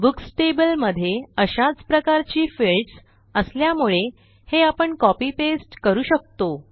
books table मध्ये अशाच प्रकारची फिल्डस असल्यामुळे हे आपण copy पास्ते करू शकतो